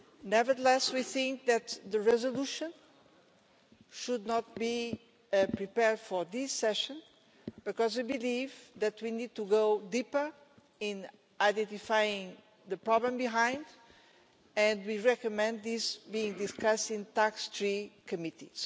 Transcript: Nevertheless, we think that the resolution should not be prepared for this session because we believe that we need to go deeper in identifying the problem behind it, and we recommend this being discussed in TAX3 Committee.